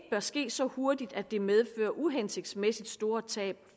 ske så hurtigt at det medfører uhensigtsmæssig store tab